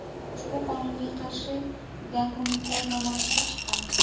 Ushbu qonunga qarshi gonkongliklar namoyishga chiqqan.